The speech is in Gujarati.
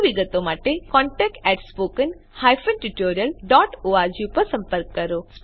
વધુ વિગત માટે contact at spoken hyphen tutorial dot org પર સંપર્ક કરો